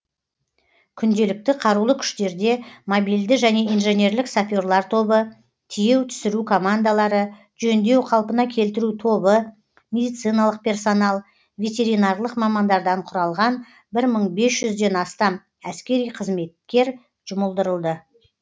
күнделікті қарулы күштерде мобильді және инженерлік саперлер тобы тиеу түсіру командалары жөндеу қалпына келтіру тобы медициналық персонал ветеринарлық мамандардан құралған бір мың бес жүзден астам әскери қызметкер жұмылдырылды